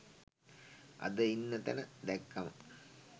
අද ඉන්න තැන දැක්කම